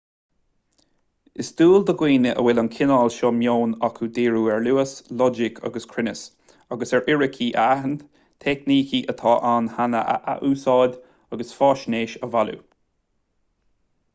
is dual do dhaoine a bhfuil an cineál seo meoin acu díriú ar luas loighic agus cruinneas agus ar fhíricí a aithint teicnící atá ann cheana a athúsáid agus faisnéis a bhailiú